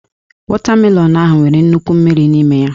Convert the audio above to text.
Wọtamelọnụ ahụ nwere nnukwu mmiri n'ime ya